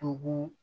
Togo